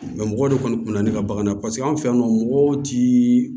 mɔgɔ de kɔni kun bɛ na ne ka bagan na paseke anw fɛ yan nɔ mɔgɔw ti